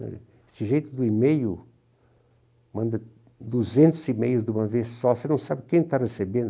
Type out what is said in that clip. Esse jeito do e-mail, manda duzentos e-mails de uma vez só, você não sabe quem está recebendo.